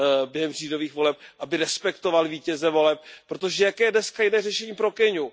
během říjnových voleb, aby respektoval vítěze voleb, protože jaké je dnes jiné řešení pro Keňu?